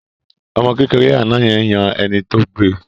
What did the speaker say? Ọmọ kékeré àná yẹn yan ẹni tó gbe